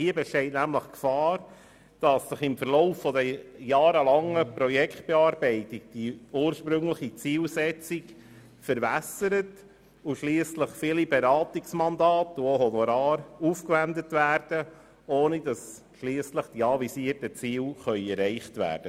Es besteht die Gefahr, dass sich die ursprüngliche Zielsetzung im Verlauf der jahrelangen Projektbearbeitung verwässert und schliesslich viele Beratungsmandate und Honorare aufgewendet werden, ohne dass die anvisierten Ziele erreicht werden.